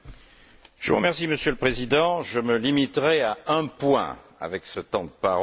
Monsieur le Président, je me limiterai à un point avec ce temps de parole réduit.